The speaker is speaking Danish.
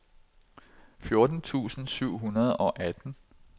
fjorten tusind syv hundrede og atten